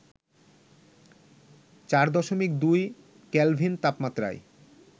৪.২ kelvin তাপমাত্রায়